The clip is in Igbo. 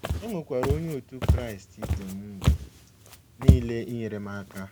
E nwekwara Onye otu Kraịst ibe m mgbe nile inyere m aka.